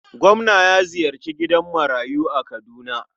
Gwamna ya ziyarci gidan marayu a Kaduna.